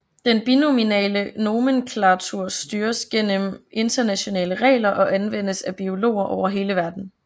Den binomiale nomenklatur styres gennem internationale regler og anvendes af biologer over hele verden